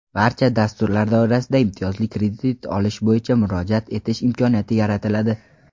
barcha dasturlar doirasida imtiyozli kredit olish bo‘yicha murojaat etish imkoniyati yaratiladi;.